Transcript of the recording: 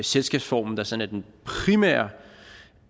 selskabsformen der sådan er